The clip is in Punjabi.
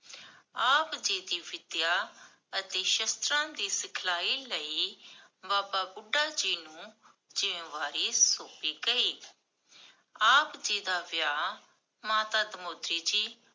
ਆਪ ਜੀ ਦੀ ਵਿਦਿਆ ਅਤੇ ਸ਼ਸਤਰਾਂ ਦੀ ਸਿਖਲਾਈ ਲਈ, ਬਾਬਾ ਬੁਢਾ ਜੀ ਨੂੰ, ਜ਼ਿਮ੍ਮੇਵਾਰੀ ਸੋਮ੍ਪੀ ਗਈ ਆਪ ਜੀ ਦਾ ਵਿਆਹ, ਮਾਤਾ ਧਨੁਤੀ ਜੀ